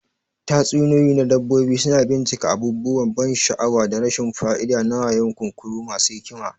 Tatsuniyoyi na dabbobi suna bincika abubuwan ban sha'awa da rashin fa'ida na wayo, kunkuru masu hikima.